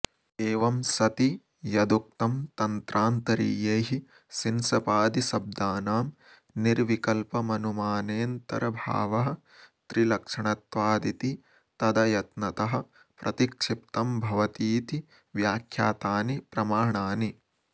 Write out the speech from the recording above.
एवं सति यदुक्तं तन्त्रान्तरीयैः शिंशपादिशब्दानां निर्विकल्पमनुमानेऽन्तर्भावस्त्रिलक्षणत्वादिति तदयत्नतः प्रतिक्षिप्तं भवतीति व्याख्यातानि प्रमाणानि